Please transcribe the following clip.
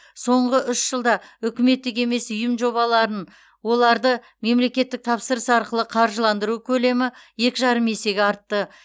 соңғы үш жылда үкіметтік емес ұйым жобаларын оларды мемлекеттік тапсырыс арқылы қаржыландыру көлемі екі жарым есеге артты